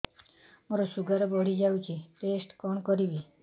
ମୋର ଶୁଗାର ବଢିଯାଇଛି ଟେଷ୍ଟ କଣ କରିବି